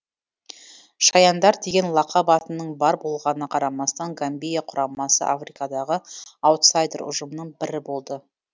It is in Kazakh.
шаяндар деген лақап атының бар болғанына қарамастан гамбия құрамасы африкадағы аутсайдер ұжымның бірі болды